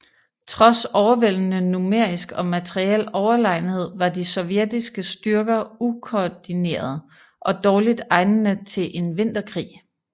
Trods overvældende numerisk og materiel overlegenhed var de sovjetiske styrker ukoordinerede og dårligt egnede til en vinterkrig